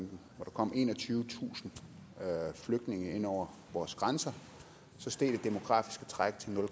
kom enogtyvetusind flygtninge ind over vores grænser steg det demografiske træk til nul